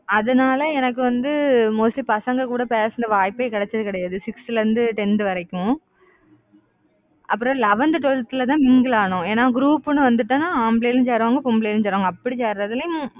அதனால எனக்கு வந்து mostly பசங்க கூட பேசின வாய்ப்பே கிடைச்சது கிடையாது. sixth ல இருந்து tenth வரைக்கும். அப்புறம் eleventh, twelfth ல தான், mingle ஆனோம். ஏன்னா group ன்னு வந்துட்டோம்ன்னா ஆம்பளைங்களும் சேருவாங்க. பொம்பளைங்களும் சேருவாங்க. அப்படி சேர்றதுலயும்